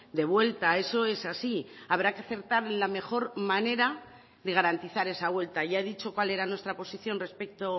de vuelta eso es así habrá que acertar la mejor manera de garantizar esa vuelta ya he dicho cuál era nuestra posición respecto